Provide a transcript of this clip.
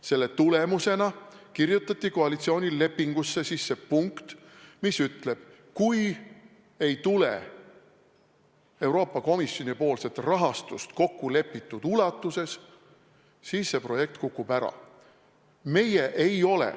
Selle tulemusena kirjutati koalitsioonilepingusse sisse punkt, mis ütleb: kui ei tule Euroopa Komisjoni rahastust kokkulepitud ulatuses, siis see projekt kukub ära.